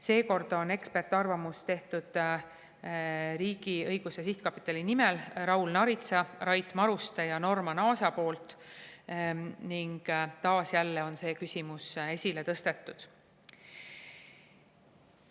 Seekord on ekspertarvamuse riigiõiguse sihtkapitali nimel teinud Raul Naarits, Rait Maruste ja Norman Aas ning taas, jälle on see küsimus esile tõstetud.